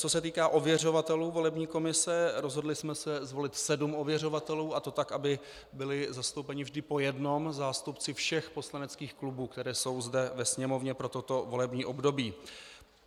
Co se týká ověřovatelů volební komise, rozhodli jsme se zvolit sedm ověřovatelů, a to tak, aby byli zastoupeni vždy po jednom zástupci všech poslaneckých klubů, které jsou zde ve Sněmovně pro toto volební období.